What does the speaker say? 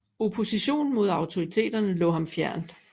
Opposition mod autoriteterne lå ham fjernt